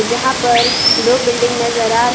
जहां पर दो बिल्डिंग नजर आ रहे--